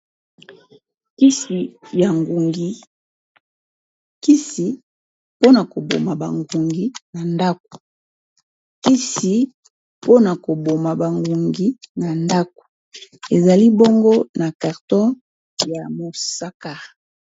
Kisi mpona koboma ba ngungi na ndako, kisi mpona ko boma ba ngungi na ndako ezali bongo na carton ya mosaka.